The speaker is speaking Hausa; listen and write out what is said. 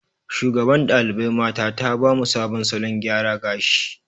Shugaban ɗalibai mata ta ba mu sabon salon gyara gashi.